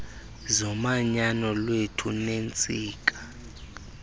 zomanyano lwethu neentsika